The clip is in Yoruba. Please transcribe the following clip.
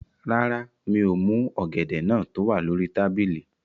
Rárá, mi ò mú ọ̀gẹ̀dẹ̀ náà tó wà lórí tábìlì